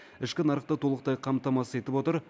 ішкі нарықты толықтай қамтамасыз етіп отыр